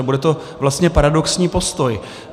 A bude to vlastně paradoxní postoj.